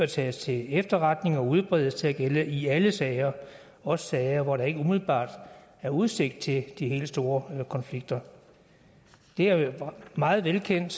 tages til efterretning og udbredes til at gælde i alle sager også sager hvor der ikke umiddelbart er udsigt til de helt store konflikter det er meget velkendt